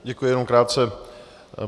Děkuji, jenom krátce.